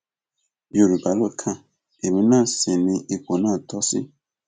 yorùbá ló kan èmi náà sí ní ipò náà tó ṣí